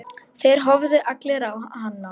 Þeir horfðu allir á hana.